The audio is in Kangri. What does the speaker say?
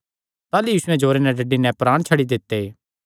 ताह़लू यीशुयैं जोरे नैं डड्डी नैं प्राण छड्डी दित्ते